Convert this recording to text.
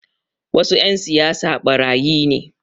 Wasu 'yan siyasa ɓarayi ne